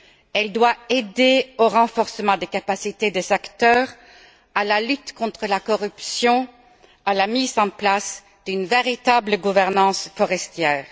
Elle doit aider au renforcement des capacités des acteurs, à la lutte contre la corruption, à la mise en place d'une véritable gouvernance forestière.